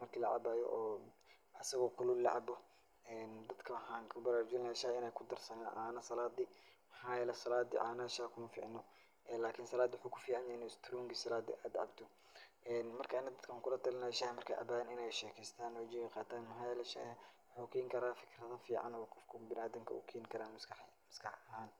marka lacabaayo oo asigo kulul la cabo. Dadka waxaan ku baraarujinayaa shaaha inay kudarsan caano salaadi. Maxaa yeelay salaada caanaxa shaah ku ma ficno. Salaadi waxuu ku ficaanyahay in isturungi salaad aad cabto. Marka ani dadka waxaan ku la talin lahaa saah marka ay cabaan in ay sheekaystaan oo jawi qaataan maxaa yeelay shaaha waxuu keen karaa fikrado ficaan oo qofka bina'aadinka u keeni karaa maskax maskax ahaan.